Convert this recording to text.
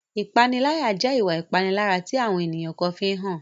Ìpaniláyà jẹ́ ìwà ìpalára tí àwọn ènìyàn kan fi ń hàn.